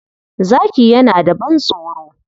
Zaki yana da ban-tsoro.